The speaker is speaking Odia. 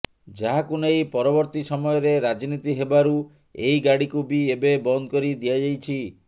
ଯାହାକୁ ନେଇ ପରବର୍ତୀ ସମୟରେ ରାଜନୀତି ହେବାରୁ ଏହି ଗାଡ଼ିକୁ ବି ଏବେ ବନ୍ଦ କରି ଦିଆଯାଇଛି